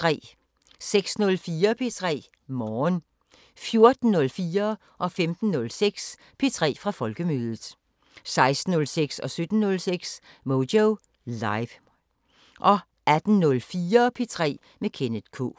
06:04: P3 Morgen 14:04: P3 fra Folkemødet 15:06: P3 fra Folkemødet 16:06: Moyo Live 17:06: Moyo Live 18:04: P3 med Kenneth K